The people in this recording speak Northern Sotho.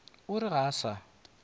o re ga a sa